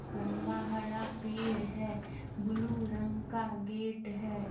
लम्बा हरा पेड़ है ब्लू रंग का गेट है।